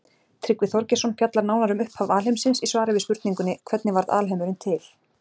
Tryggvi Þorgeirsson fjallar nánar um upphaf alheimsins í svari við spurningunni Hvernig varð alheimurinn til?